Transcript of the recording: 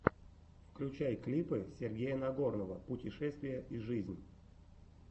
включай клипы сергея нагорного путешествия и жизнь